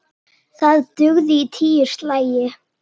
Það dugði í tíu slagi.